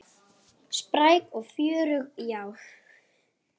Spræk og fjörug, já.